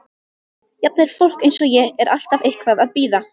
Jafnvel fólk eins og ég er alltaf eitthvað að bíða.